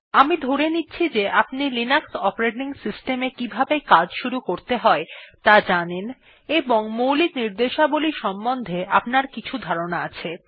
আমি ধরে নিচ্ছি যে আপনি লিনাক্স অপারেটিং কিভাবে কাজ শুরু করতে হয় ত়া জানেন এবং মৌলিক র্নিদেশাবলী সম্বন্ধে আপনার কিছু ধারনার আছে